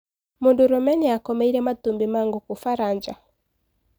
Mũdũrũme niakomeire matumbi ma ngũkũ Faraja.